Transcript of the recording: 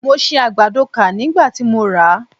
Mo si àgbàdo kà nígbà tí mo rà á.